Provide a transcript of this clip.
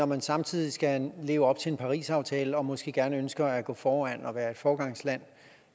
man samtidig skal leve op til en parisaftale og måske gerne ønsker at gå foran og være et foregangsland